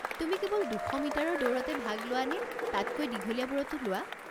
তুমি কেৱল দুশ মিটাৰৰ দৌৰতে ভাগ লোৱানে তাতকৈ দীঘলীয়াবোৰতো লোৱা?